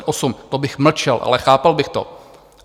To bych mlčel, ale chápal bych to.